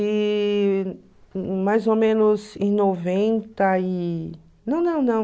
E mais ou menos em noventa e... Não, não, não.